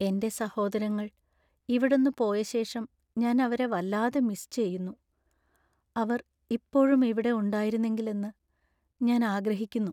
എന്‍റെ സഹോദരങ്ങൾ ഇവിടന്നു പോയ ശേഷം ഞാൻ അവരെ വല്ലാതെ മിസ് ചെയ്യുന്നു. അവർ ഇപ്പോഴും ഇവിടെ ഉണ്ടായിരുന്നെങ്കിൽ എന്ന് ഞാൻ ആഗ്രഹിക്കുന്നു.